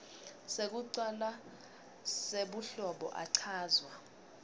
sekucala sebuhlobo achazwa